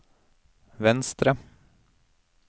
venstre